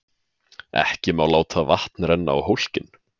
Ekki má láta vatn renna á hólkinn.